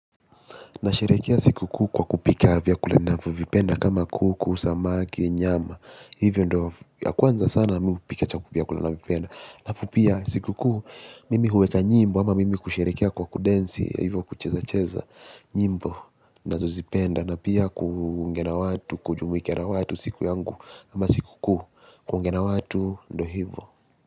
Na sherekea siku kuu kwa kupika vyakula ninavyo vipenda kama kuku, samaki, nyama. Hivyo ndo ya kwanza sana mimi kupika chakula ninavyovipenda halafu pia siku kuu mimi huweka nyimbo ama mimi kusherekea kwa kudensi. Hivyo kucheza-cheza nyimbo na zozipenda na pia kuongea na watu, kujumuika na watu siku yangu ama siku kuu, kuongea na watu ndo hivyo.